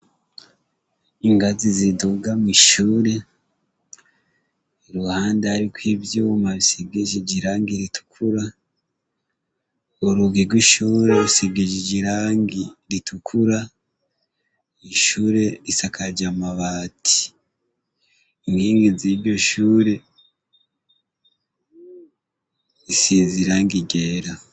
Ingazi ziduga mw'ishuri, iruhande hariko ivyuma bisigishije irangi ritukura, urugi rw'ishure rusigishije irangi ritukura, ishure isakaje amabati, inkingi z'iryo shure risize irangi ryera.